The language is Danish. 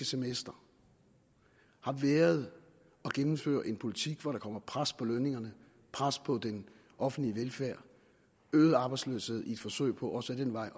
semester har været at gennemføre en politik hvor der kommer pres på lønningerne pres på den offentlige velfærd og øget arbejdsløshed i et forsøg på også ad den vej